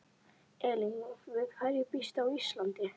Elín: Við hverju býstu á Íslandi?